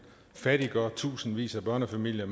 fattiggør tusindvis af børnefamilier